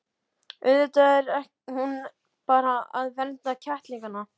Auðvitað er hún bara að vernda kettlingana.